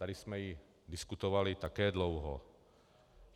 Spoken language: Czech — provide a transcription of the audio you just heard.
Tady jsme ji diskutovali také dlouho.